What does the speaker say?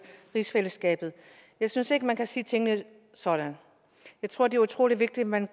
rigsfællesskabet jeg synes ikke man kan sige tingene sådan jeg tror det er utrolig vigtigt at man